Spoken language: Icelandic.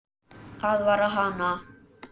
Aðvarar hana.